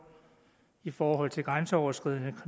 i forhold til grænseoverskridende